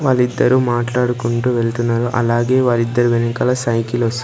వాళ్లిద్దరూ మాట్లాడుకుంటూ వెళ్తున్నారు అలాగే వాళ్ళిద్దరి వెనకాల సైకిల్ ఒస్--